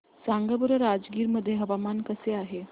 सांगा बरं राजगीर मध्ये हवामान कसे आहे